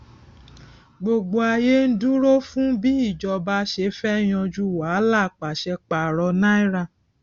gbogbo ayé ń dúró fún bí ìjọba ṣe fẹ yanjú wàhálà pàṣẹ paro náírà